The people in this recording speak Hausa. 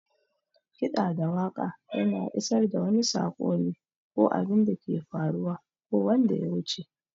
Kiɗa da waƙa yana isar da wani sako ne, ko abinda ke faruwa ko wanda yawuce.